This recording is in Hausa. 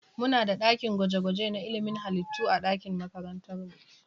Muna da ɗakin gwaje-gwaje na ilimin halitta a makarantar mu.